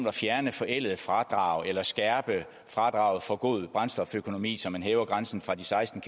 at fjerne forældede fradrag eller at skærpe fradraget for god brændstoføkonomi så man hæver grænsen fra seksten